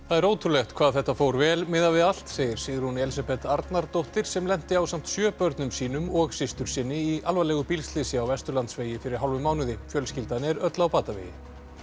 það er ótrúlegt hvað þetta fór vel miðað við allt segir Sigrún Elísabeth Arnardóttir sem lenti ásamt sjö börnum sínum og systursyni í alvarlegu bílslysi á Vesturlandsvegi fyrir hálfum mánuði fjölskyldan er öll á batavegi